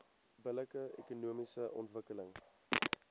billike ekonomiese ontwikkeling